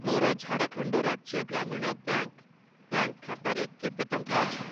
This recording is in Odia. ମୋର ଝାଡ଼ଖଣ୍ଡ ରାଜ୍ୟ ଗ୍ରାମୀଣ ବ୍ୟାଙ୍କ୍‌ ବ୍ୟାଙ୍କ୍‌ ଖାତାରେ କେତେ ଟଙ୍କା ଅଛି?